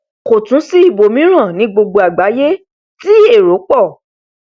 kò tún sí ibòmíràn ní gbogbo àgbáyé tí èro pọ